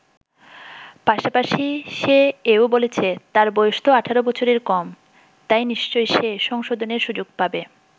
পাশাপাশি সে এও বলেছে, তার বয়স তো ১৮ বছরের কম, তাই নিশ্চয়ই সে সংশোধনের সুযোগ পাবে।